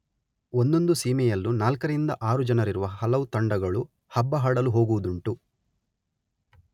ಒಂದೊಂದು ಸೀಮೆಯಲ್ಲೂ ನಾಲ್ಕರಿಂದ ಆರು ಜನರಿರುವ ಹಲವು ತಂಡಗಳು ಹಬ್ಬಹಡಲು ಹೋಗುವುದುಂಟು.